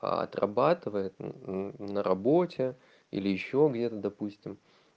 отрабатывает на работе или ещё где-то допустим